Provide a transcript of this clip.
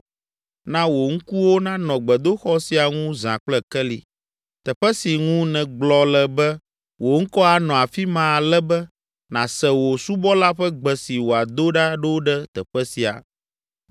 Na wò ŋkuwo nanɔ gbedoxɔ sia ŋu zã kple keli, teƒe si ŋu nègblɔ le be wò ŋkɔ anɔ afi ma ale be nàse wò subɔla ƒe gbe si wòado ɖa ɖo ɖe teƒe sia.